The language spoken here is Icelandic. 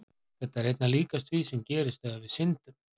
Þetta er einna líkast því sem gerist þegar við syndum.